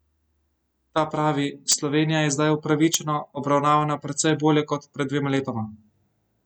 Ta pravi: "Slovenija je zdaj upravičeno obravnavana precej bolje kot pred dvema letoma.